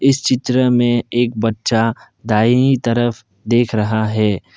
इस चित्र में एक बच्चा दाहिनी तरफ देख रहा है।